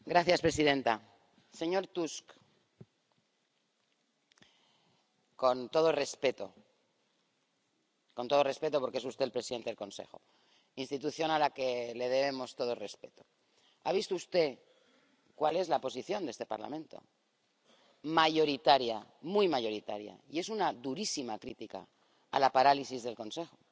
Señora presidenta, señor Tusk, con todo respeto —con todo respeto porque es usted el presidente del Consejo, institución a la que le debemos todo el respeto—, ha visto usted cuál es la posición de este Parlamento, mayoritaria, muy mayoritaria, y es una durísima crítica a la parálisis del Consejo.